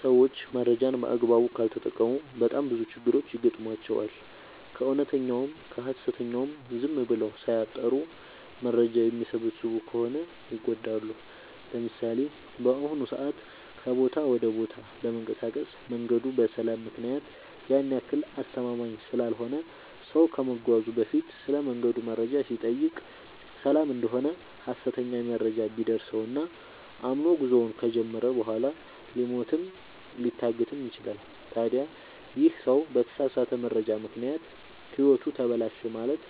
ሰዎች መረጃን በአግባቡ ካልተጠቀሙ በጣም ብዙ ችግሮች ይገጥሟቸዋል። ከእውነተኛውም ከሀሰተኛውም ዝም ብለው ሳያጠሩ መረጃ የሚሰበስቡ ከሆነ ይጎዳሉ። ለምሳሌ፦ በአሁኑ ሰዓት ከቦታ ወደ ቦታ ለመንቀሳቀስ መንገዱ በሰላም ምክንያት ያን ያክል አስተማመምኝ ስላልሆነ ሰው ከመጓዙ በፊት ስለመንገዱ መረጃ ሲጠይቅ ሰላም እደሆነ ሀሰተኛ መረጃ ቢደርሰው እና አምኖ ጉዞውን ከጀመረ በኋላ ሊሞትም ሊታገትም ይችላል። ታዲ ይህ ሰው በተሳሳተ መረጃ ምክንያት ህይወቱ ተበላሸ ማለት